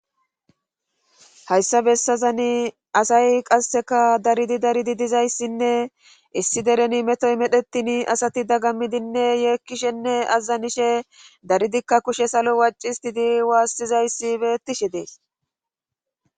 Hayssa bessazani asay qasseka daridi daridi dizayssinne issi dereni metoy medhetin asati daggammidinne yeekkishenne azazanishe daridikka kushe salo waccistidi waassizayssi beettishe dees.